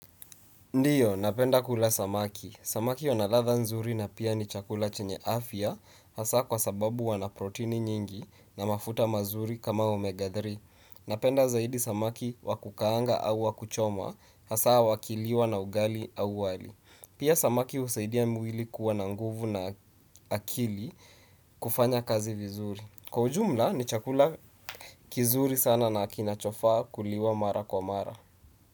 Ndio, napenda kula samaki. Samaki wana ladha nzuri na pia ni chakula chenye afya, hasa kwa sababu wana proteini nyingi na mafuta mazuri kama omega tatu. Napenda zaidi samaki wakukaanga au wakuchoma, hasa wakiliwa na ugali au wali. Pia samaki husaidia mwili kuwa na nguvu na akili kufanya kazi vizuri. Kwa ujumla, ni chakula kizuri sana na kinachofaa kuliwa mara kwa mara.